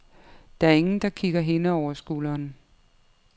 Der er ingen, der kigger hende over skulderen.